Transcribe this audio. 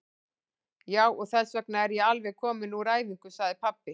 Já, og þessvegna er ég alveg kominn úr æfingu, sagði pabbi.